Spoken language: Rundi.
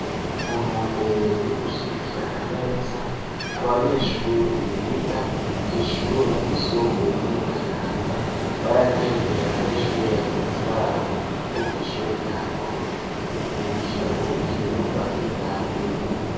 Mu ntumbero yo gushidikirana neza abanyeshure biga kw'ishure ry'isumbuye ryo mu kayanza baragendeye abanyeshure bagenzi babo bo kw'ishure rya ngozi mu gukina urukino rwa kivandimwe.